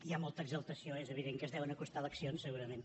hi ha molta exaltació és evident que es deuen acostar eleccions segurament